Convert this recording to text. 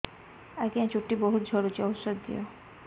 ଆଜ୍ଞା ଚୁଟି ବହୁତ୍ ଝଡୁଚି ଔଷଧ ଦିଅ